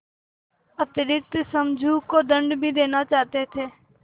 अतिरिक्त समझू को दंड भी देना चाहते थे